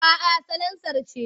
A'a salansar ce.